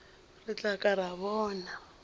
re tla ka ra bona